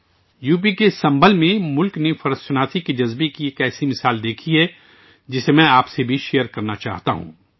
UP کے سنبھل میں ملک نے احساس ذمہ داری کی ایسی مثال دیکھی ہے، جسے میں آپ کے ساتھ بھی شیئر کرنا چاہتا ہوں